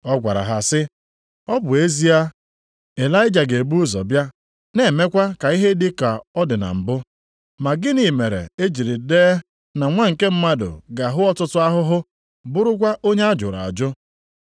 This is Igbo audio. Ọ gwara ha sị, “Ọ bụ ezie, Ịlaịja ga-ebu ụzọ bịa, na-emekwa ka ihe dị ka ọ dị na mbụ. Ma gịnị mere e jiri dee na Nwa nke Mmadụ ga-ahụ ọtụtụ ahụhụ, bụrụkwa onye a jụrụ ajụ?